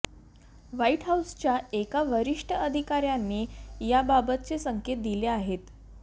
white हाऊसच्या एका वरिष्ठ अधिकाऱ्याने याबाबतचे संकेत दिले आहेत